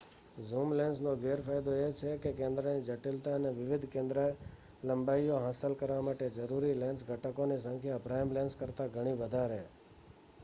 zoom લેન્સનો ગેરફાયદો એ છે કે કેન્દ્રની જટિલતા અને વિવિધ કેન્દ્રલંબાઇઓ હાંસલ કરવા માટે જરૂરી લેન્સ ઘટકોની સંખ્યા પ્રાઇમ લેન્સ કરતાં ઘણી વધારે